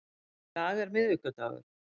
Í dag er miðvikudagur.